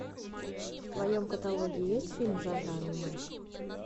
в твоем каталоге есть фильм жанра аниме